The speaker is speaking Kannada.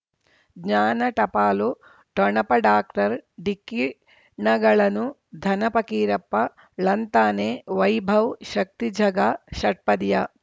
ಜ್ಞಾನ ಟಪಾಲು ಠೊಣಪ ಡಾಕ್ಟರ್ ಢಿಕ್ಕಿ ಣಗಳನು ಧನ ಫಕೀರಪ್ಪ ಳಂತಾನೆ ವೈಭವ್ ಶಕ್ತಿ ಝಗಾ ಷಟ್ಪದಿಯ